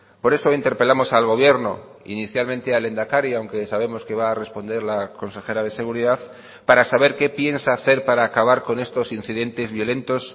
por eso interpelamos al gobierno inicialmente al lehendakari aunque sabemos que va a responder la consejera de seguridad para saber qué piensa hacer para acabar con estos incidentes violentos